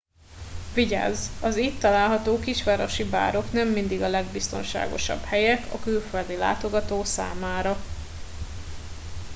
vigyázz az itt található kisvárosi bárok nem mindig a legbiztonságosabb helyek a külföldi látogató számára